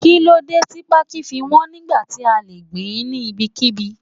Kíló dé tí pákí fi wọn nígbà tí a le gbìn ín ní ibikíbi?